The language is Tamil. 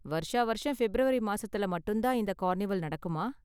வருஷா வருஷம் ஃபிப்ரவரி மாசத்துல மட்டும் தான் இந்த கார்னிவல் நடக்குமா?